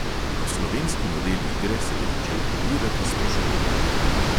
Slovenski model igre se je začel podirati s poškodbami.